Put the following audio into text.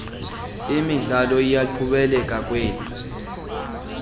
imidlalo iyaqhubekeka kwel